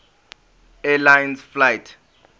air lines flight